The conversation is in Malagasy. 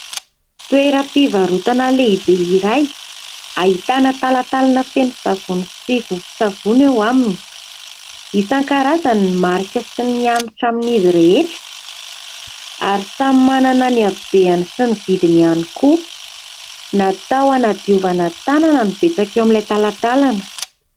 Toeram-pivarotana lehibe iray ahitana talantalana feno savony sy vovon-tsavony eo aminy. Isan-karazany ny marika sy ny hanitra amin'izy rehetra, ary samy manana ny habeny sy ny vidiny ihany koa; natao hanadiovana tanana ny betsaka eo amin'ilay talantalana.